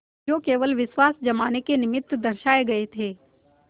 जो केवल विश्वास जमाने के निमित्त दर्शाये गये थे